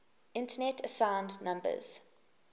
internet assigned numbers